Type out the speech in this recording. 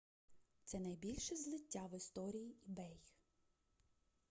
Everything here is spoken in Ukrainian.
це найбільше злиття в історії ebay